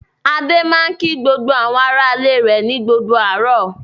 Adé máa ń kí àwọn aráalé rẹ̀ ní gbogbo àárọ̀.